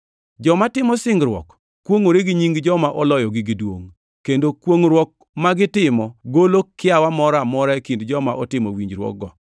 Joma timo singruok kwongʼore gi nying joma oloyogi gi duongʼ, kendo kwongʼruok ma gitimo golo kiawa moro amora e kind joma otimo winjruokgo.